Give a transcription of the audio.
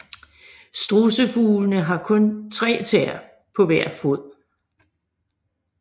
Strudsefuglene har kun tre tæer på hver fod